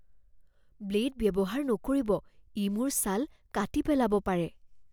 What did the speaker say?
Blade ব্যৱহাৰ নকৰিব। ই মোৰ ছাল কাটি পেলাব পাৰে।